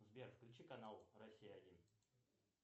сбер включи канал россия один